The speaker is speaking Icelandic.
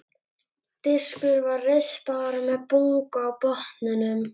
Diskurinn var rispaður og með bungu á botninum.